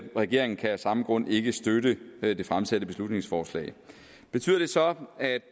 regeringen kan af samme grund ikke støtte det det fremsatte beslutningsforslag betyder det så at